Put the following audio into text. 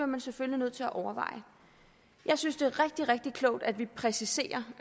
man selvfølgelig nødt til at overveje jeg synes det er rigtig rigtig klogt at vi præciserer